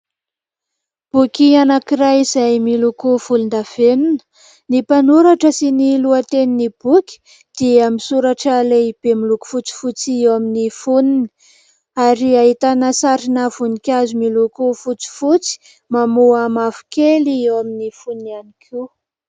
Boky anankiray izay miloko volondavenona. Ny mpanoratra sy ny lohatenin'ny boky dia misoratra lehibe miloko fotsifotsy eo amin'ny fonony ary ahitana sarina voninkazo miloko fotsifotsy, mamoa mavokely eo amin'ny fonony ihany koa.